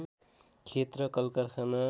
खेत र कलकारखाना